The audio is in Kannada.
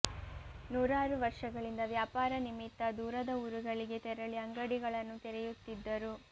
ನೂರಾರು ವರ್ಷಗಳಿಂದ ವ್ಯಾಪಾರ ನಿಮಿತ್ತ ದೂರದ ಊರುಗಳಿಗೆ ತೆರಳಿ ಅಂಗಡಿಗಳನ್ನು ತೆರೆಯುತ್ತಿದ್ದರು